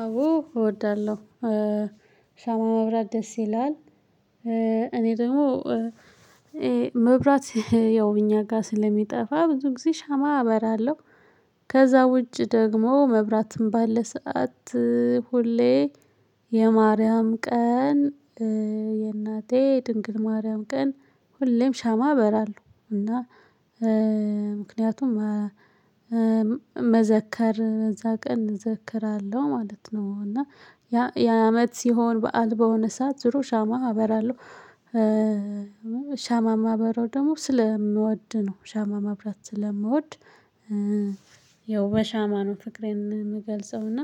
አዎ እወዳለሁ ሻማ ማብራት ደስ ይላል። እኔ ደግሞ መብራት ያው እኛ ጋር ስለሚጠፋ ብዙ ጊዜ ሻማ አበራለሁ። ከዛ ውጪ ደግሞ መብራትም ባለ ሰዓት። ሁሌ የማርያም ቀን የእናቴ ድንግል ማርያም ቀን ሁሌም ሻማ አበራለሁ እና ምክንያቱም መዘከር እዛ ቀን እዘክራለሁ ማለት ነው። እና ያ የዓመት ሲሆን በዓል በሆነ ሰዓት ድሮ ሻማ አበራለሁ። ሻማ ማበራው ደግሞ ስለምወድ ነው ሻማ ማብራት ስለምወድ። ያው በሻማ ነው ፍቅሬን የምገልጸው እና